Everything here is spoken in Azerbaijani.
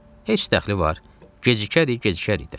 Heç dəxli var, gecikərik, gecikərik də.